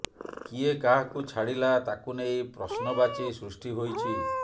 କିଏ କାହାକୁ ଛାଡ଼ିଲା ତାକୁ ନେଇ ପ୍ରଶ୍ନବାଚି ସୃଷ୍ଟି ହୋଇଛି